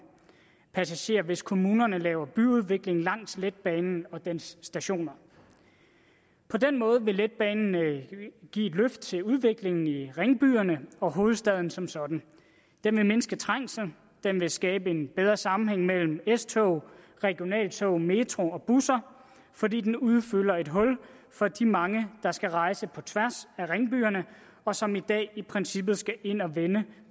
passagerer hvis kommunerne laver byudvikling langs letbanen og dens stationer på den måde vil letbanen give et løft til udviklingen i ringbyerne og hovedstaden som sådan den vil mindske trængslen den vil skabe en bedre sammenhæng mellem s tog regionaltog metro og busser fordi den udfylder et hul for de mange der skal rejse på tværs af ringbyerne og som i dag i princippet skal ind og vende